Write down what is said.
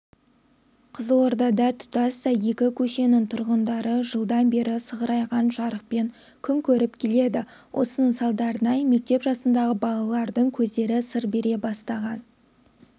қызылордада тұтастай екі көшенің тұрғындары жылдан бері сығырайған жарықпен күн көріп келеді осының салдарынан мектеп жасындағы балалардың көздері сыр бере бастаған